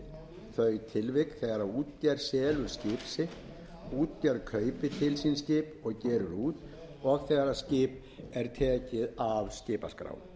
tilvik þegar útgerð selur skip sitt útgerð kaupir til sín skip og gerir út og þegar skip er tekið af skipaskrá